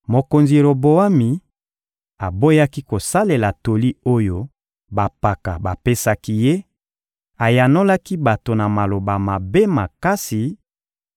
Mokonzi Roboami aboyaki kosalela toli oyo bampaka bapesaki ye, ayanolaki bato na maloba mabe makasi;